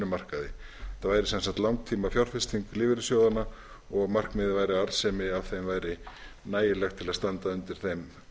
markaði það væri sem sagt langtímafjárfesting lífeyrissjóðanna og markmiðið væri að arðsemi af þeim væri nægilegt til að standa undir þeim